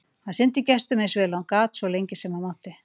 Hann sinnti gestunum eins vel og hann gat og svo lengi sem hann mátti.